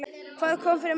Hvað kom fyrir Messi?